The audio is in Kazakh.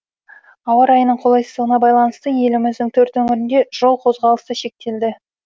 ауа райының қолайсыздығына байланысты еліміздің төрт өңірінде жол қозғалысы шектелді